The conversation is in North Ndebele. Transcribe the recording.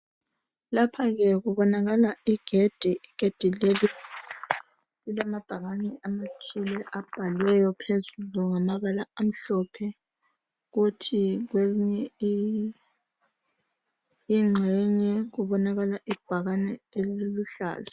Lapha ke kubonakala igedi igedi leli lilamabhakani athile abhaliweyo phezulu ngamabala amhlophe kuthi kwenye ingxenye kubonakala ibhakane eliluhlaza